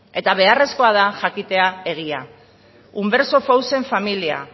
eta beharrezkoa da jakitea egia familia